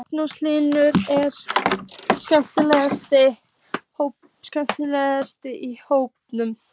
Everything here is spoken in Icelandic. Magnús Hlynur: Er skemmtileg stemming í hópnum?